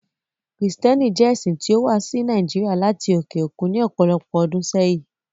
Kristiánìtì jẹ̀ ẹ̀ṣin tí o wà sí Nàìjíríà lati oke okun ní ọpọlọpọ̀ ọdún sẹ̀yin.